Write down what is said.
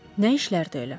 Nə işlərdi elə?